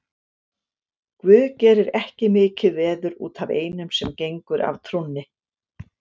Guð gerir ekki mikið veður út af einum sem gengur af trúnni.